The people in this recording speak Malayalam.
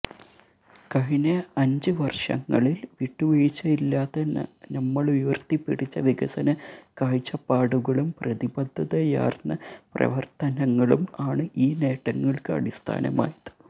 കഴിഞ്ഞ അഞ്ച് വര്ഷങ്ങളില് വിട്ടുവീഴ്ചയില്ലാതെ നമ്മളുയര്ത്തിപ്പിടിച്ച വികസന കാഴ്ചപ്പാടുകളും പ്രതിബദ്ധതയാര്ന്ന പ്രവര്ത്തനങ്ങളും ആണ് ഈ നേട്ടങ്ങള്ക്ക് അടിസ്ഥാനമായത്